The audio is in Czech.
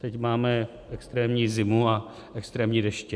Teď máme extrémní zimu a extrémní deště.